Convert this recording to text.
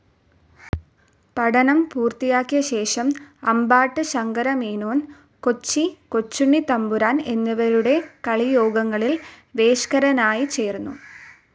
പഠനം പൂർത്തിയാക്കിയശേഷം അമ്പാട്ട് ശങ്കരമേനോൻ, കൊച്ചി കൊച്ചുണ്ണിത്തമ്പുരാൻ എന്നിവരുടെ കളിയോഗങ്ങളിൽ വേഷക്കാരനായി ചേർന്നു.